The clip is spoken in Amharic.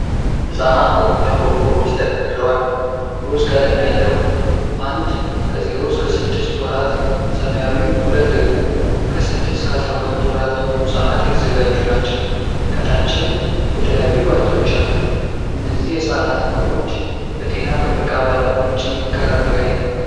ሕፃናት ፎርሙላ ቆርቆሮዎች ተደርድረዋል። ሮዝ ቀለም ያለው '1' ከ0-6 ወራት፣ ሰማያዊው '2' ደግሞ ከ6-12 ወራት ለሆኑ ሕፃናት የተዘጋጁ ናቸው። ከታችም የተለያዩ መጠጦች አሉ፤ እነዚህ የሕፃናት ምግቦች በጤና ጥበቃ ባለሞያዎች ይመከራሉ ወይ?